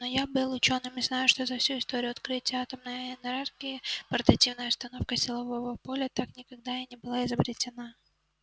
но я был учёным и знаю что за всю историю открытия атомной энергии портативная установка силового поля так никогда и не была изобретена